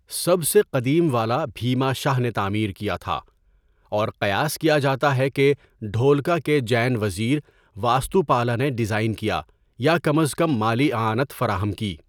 سب سے قدیم والا بھیما شاہ نے تعمیر کیا تھا اور قیاس کیا جاتا ہے کہ ڈھولکا کے جین وزیر واستوپالا نے ڈیزائن کیا یا کم از کم مالی اعانت فراہم کی۔